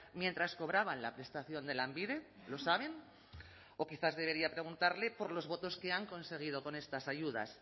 mientras cobraban la prestación de lanbide lo saben o quizás debería preguntarle por los votos que han conseguido con estas ayudas